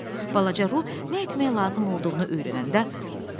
Balaca Ru nə etməyə lazım olduğunu öyrənəndə vəcdə gəldi.